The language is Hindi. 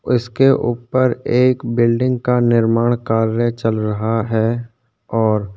उसके ऊपर एक बिल्डिंग का निर्माण कार्य चल रहा है और --